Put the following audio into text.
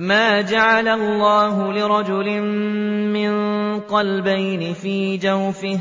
مَّا جَعَلَ اللَّهُ لِرَجُلٍ مِّن قَلْبَيْنِ فِي جَوْفِهِ ۚ